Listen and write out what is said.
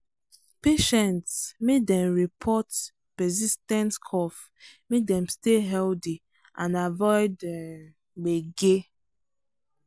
patients make dem report persis ten t cough make dem stay healthy and avoid um gbege